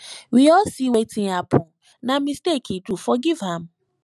we all seewetin happen na mistake he do forgive am